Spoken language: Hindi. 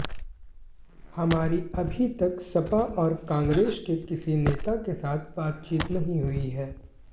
हमारी अभी तक सपा और कांग्रेस के किसी नेता के साथ बातचीत नहीं हुई है